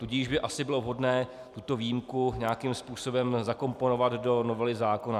Tudíž by asi bylo vhodné tuto výjimku nějakým způsobem zakomponovat do novely zákona.